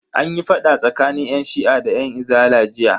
Anyi fada tsakanin yan shi'a da yan izala jiya.